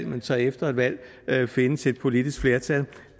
men så efter et valg findes et politisk flertal